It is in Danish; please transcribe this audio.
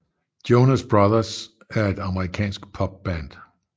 Jonas Brothers er et amerikansk popband